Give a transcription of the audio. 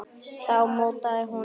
Þá mótaði hún þá til.